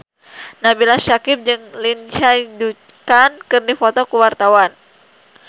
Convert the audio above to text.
Nabila Syakieb jeung Lindsay Ducan keur dipoto ku wartawan